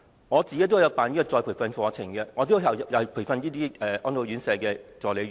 我自己也曾開辦再培訓課程，對象包括安老院舍護理員。